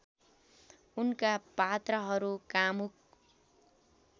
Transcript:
उनका पात्रहरू कामुक